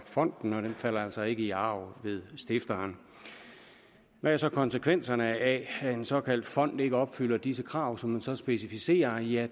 fonden og falder altså ikke i arv ved stifteren hvad er så konsekvenserne af at en såkaldt fond ikke opfylder de krav som man så specificerer ja